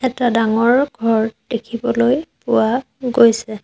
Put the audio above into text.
এটা ডাঙৰ ঘৰ দেখিবলৈ পোৱা গৈছে।